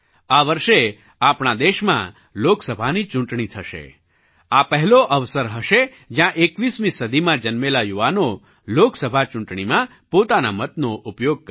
આ વર્ષે આપણા દેશમાં લોકસભાની ચૂંટણી થશે આ પહેલો અવસર હશે જ્યાં 21મી સદીમાં જન્મેલા યુવાનો લોકસભા ચૂંટણીમાં પોતાના મતનો ઉપયોગ કરશે